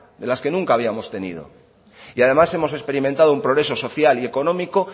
de las que nunca habíamos tenido y además hemos experimentado un progreso social y económico